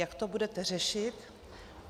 Jak to budete řešit?